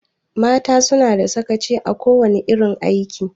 Mata suna da sakaci a kowana irin aiki.